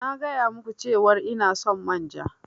Na gaya ma ku cewar ina son manja.